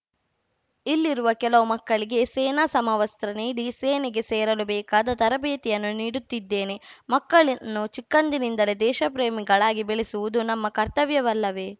ಇಲ್ಲಿರುವ ಕೆಲವು ಮಕ್ಕಳಿಗೆ ಸೇನಾ ಸಮವಸ್ತ್ರ ನೀಡಿ ಸೇನೆಗೆ ಸೇರಲು ಬೇಕಾದ ತರಬೇತಿಯನ್ನೂ ನೀಡುತ್ತಿದ್ದೇನೆ ಮಕ್ಕಳನ್ನು ಚಿಕ್ಕಂದಿನಿಂದಲೇ ದೇಶಪ್ರೇಮಿಗಳಾಗಿ ಬೆಳೆಸುವುದು ನಮ್ಮ ಕರ್ತವ್ಯವಲ್ಲವೇ